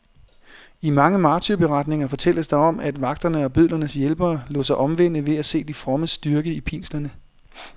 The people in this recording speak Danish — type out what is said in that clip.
I mange martyrberetninger fortælles der om, at vagterne og bødlernes hjælpere lod sig omvende ved at se de frommes styrke i pinslerne.